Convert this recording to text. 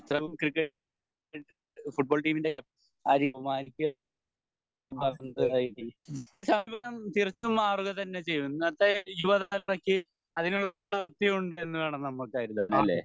football ടീമിൻ്റെ തികച്ചും മാറുക തന്നെ ചെയ്യും ഇന്നത്തെ യുവതലമുറക്ക് അതിനുള്ള പ്രാപ്തി ഉണ്ടെന്ന് വേണം നമ്മൾ കരുതാൻ അല്ലെ